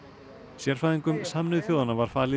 sérfræðingum Sameinuðu þjóðanna var falið í